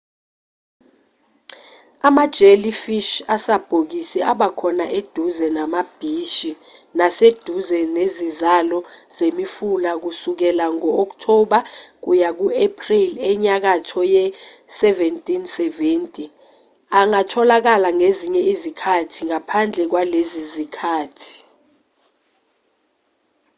ama-jellyfish asabhokisi abakhona eduze namabhishi naseduze nezizalo zemifula kusukela ngo-october kuya ku-april enyakatho ye-1770 angatholakala ngezinye izikhathi ngaphandle kwalezi zikhathi